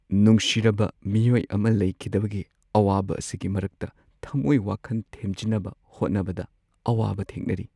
ꯅꯨꯡꯁꯤꯔꯕ ꯃꯤꯑꯣꯏ ꯑꯃ ꯂꯩꯈꯤꯗꯕꯒꯤ ꯑꯋꯥꯕ ꯑꯁꯤꯒꯤ ꯃꯔꯛꯇ ꯊꯃꯣꯏ-ꯋꯥꯈꯟ ꯊꯦꯝꯖꯤꯟꯅꯕ ꯍꯣꯠꯅꯕꯗ ꯑꯋꯥꯕ ꯊꯦꯡꯅꯔꯤ ꯫